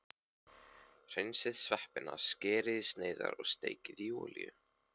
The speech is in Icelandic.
Hreinsið sveppina, skerið í sneiðar og steikið í olíu.